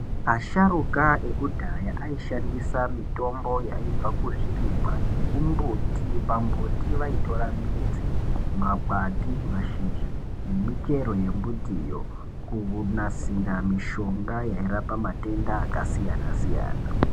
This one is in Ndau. Asharuka ekudhaya aishandisa mitombo inobva kuzvirimwa nekumiti kumiti vaitora midzi magwati mashizha nemichero yemitiyo kunasira mishonga yairapa matenda akasiyana siyana .